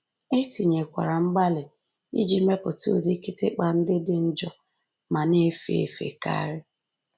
E tinyekwara mgbalị iji mepụta ụdị kịtịkpa ndị dị njọ ma na-efe efe karị